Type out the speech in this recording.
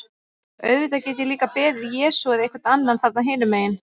Auðvitað get ég líka beðið Jesú eða einhvern annan þarna hinum megin.